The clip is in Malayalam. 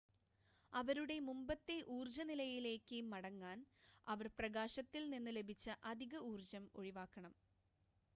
അവരുടെ മുമ്പത്തെ ഊർജ്ജ നിലയിലേക്ക് മടങ്ങാൻ അവർ പ്രകാശത്തിൽ നിന്ന് ലഭിച്ച അധിക ഊർജ്ജം ഒഴിവാക്കണം